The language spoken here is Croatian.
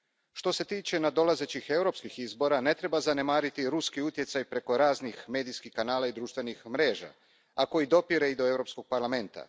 Što se tiče nadolazećih europskih izbora, ne treba zanemariti ruski utjecaj preko raznih medijskih kanala i društvenih mreža, a koji dopire i do Europskog parlamenta.